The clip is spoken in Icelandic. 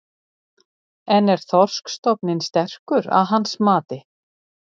En er þorskstofninn sterkur að hans mati?